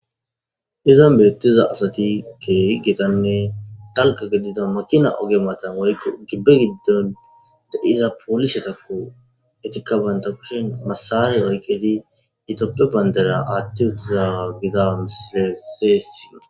Izan betiza asati kehi gitanne dalga gidida makina oge woyiko gibe gidon de,iza polisetako etika bantha kushen masare oyikidi ithophe bandira atiwutizaga misilezi besees